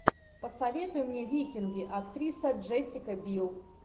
посоветуй мне викинги актриса джессика бил